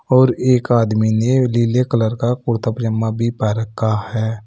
और एक आदमी ने नीले कलर का कुर्ता पजामा भी पेहन रखा है।